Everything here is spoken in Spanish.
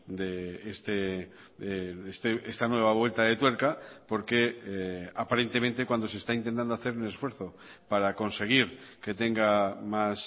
de esta nueva vuelta de tuerca porque aparentemente cuando se está intentando hacer un esfuerzo para conseguir que tenga más